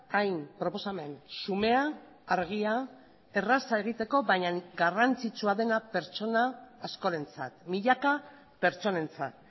hain proposamen xumea argia erraza egiteko baina garrantzitsua dena pertsona askorentzat milaka pertsonentzat